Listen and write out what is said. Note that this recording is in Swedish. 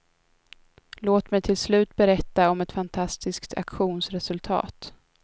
Låt mig till slut berätta om ett fantastiskt auktionsresultat.